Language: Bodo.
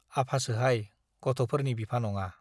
आफासोहाय, गथ'फोरनि बिफा नङा।